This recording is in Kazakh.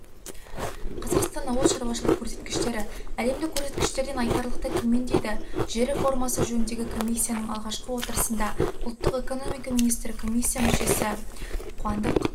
қазақстан ауыл шарушылығы көрсеткіштері әлемдік көрсеткіштерден айтарлықтай төмен дейді жер реформасы жөніндегі комиссияның алғашқы отырысында ұлттық экономика министрі комиссия мүшесі қуандық